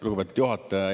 Lugupeetud juhataja!